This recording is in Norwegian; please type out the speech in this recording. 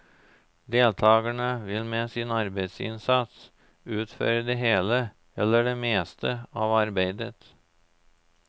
Deltakerne vil med sin arbeidsinnsats utføre det hele eller det meste av arbeidet.